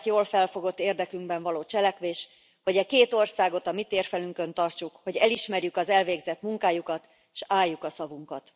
a saját jól felfogott érdekünkben való cselekvés, hogy e két országot a mi térfelünkön tartsuk, hogy elismerjük az elvégzett munkájukat, s álljuk a szavunkat.